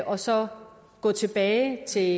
og så gå tilbage til